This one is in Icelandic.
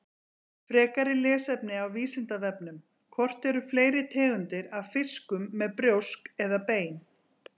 Frekara lesefni á Vísindavefnum: Hvort eru fleiri tegundir af fiskum með brjósk eða bein?